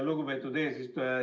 Lugupeetud eesistuja!